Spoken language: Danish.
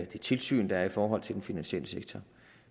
det tilsyn der er i forhold til den finansielle sektor